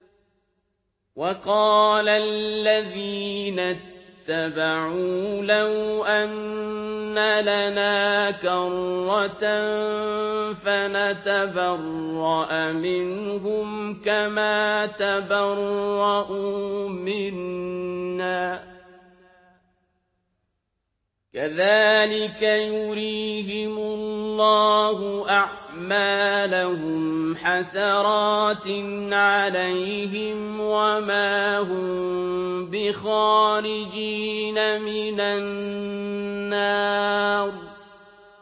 وَقَالَ الَّذِينَ اتَّبَعُوا لَوْ أَنَّ لَنَا كَرَّةً فَنَتَبَرَّأَ مِنْهُمْ كَمَا تَبَرَّءُوا مِنَّا ۗ كَذَٰلِكَ يُرِيهِمُ اللَّهُ أَعْمَالَهُمْ حَسَرَاتٍ عَلَيْهِمْ ۖ وَمَا هُم بِخَارِجِينَ مِنَ النَّارِ